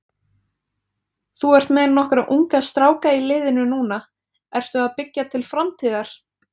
Þú ert með nokkra unga stráka í liðinu núna, ertu að byggja til framtíðar?